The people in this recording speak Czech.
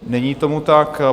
Není tomu tak.